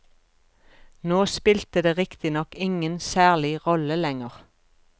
Nå spilte det riktignok ingen særlig rolle lenger.